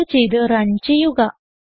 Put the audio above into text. save ചെയ്ത് run ചെയ്യുക